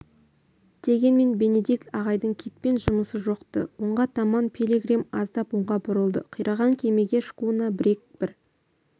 дегенмен бенедикт ағайдың китпен жұмысы жоқ-ты оңға таман пилигрим аздап оңға бұрылды қираған кемеге шкуна-бриг бір